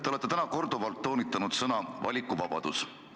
Te olete täna korduvalt toonitanud sõna "valikuvabadus".